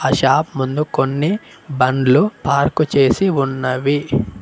Shop ముందు కొన్ని బండ్లు పార్కు చేసి ఉన్నవి.